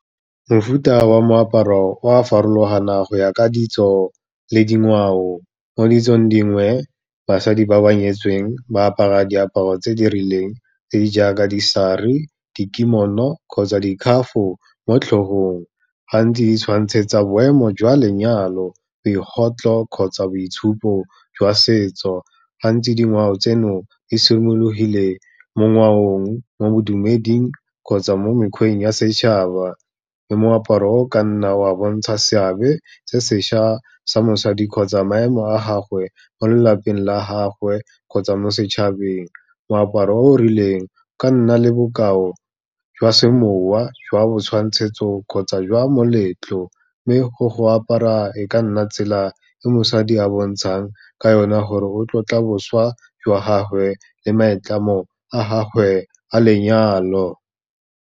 Mofuta wa moaparo o a farologana go ya ka ditso le dingwao, mo ditsong dingwe basadi ba ba nyetsweng ba apara diaparo tse di rileng tse di jaaka disaree, dikimono kgotsa dikhafo mo tlhogong, gantsi e tshwantshetsa boemo jwa lenyalo, kgotsa boitshupo jwa setso. Gantsi dingwao tseno, di simologile mo ngwaong, mo bodumeding kgotsa mo mekgweng ya setšhaba, le moaparo o ka nna wa bontsha seabe se sešhwa sa mosadi kgotsa maemo a gagwe mo lelapeng la gagwe kgotsa mo setšhabeng. Moaparo o rileng, o ka nna le bokao jwa semowa, jwa botshwantshetso kgotsa jwa moletlo, mme go apara e ka nna tsela e mosadi a bontshang ka yona gore o tlotla boswa jwa gagwe le maitlamo a gagwe a lenyalo.